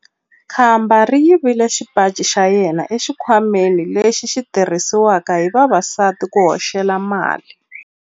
Khamba ri yivile xipaci xa yena exikhwameni lexi xi tirhisiwaka hi vavasati ku hoxela mali.